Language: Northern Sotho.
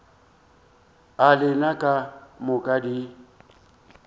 a lena ka moka di